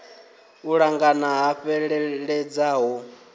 u ṱangana ha fheleledza ho